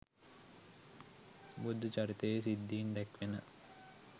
බුද්ධ චරිතයෙහි සිද්ධීන් දැක්වෙන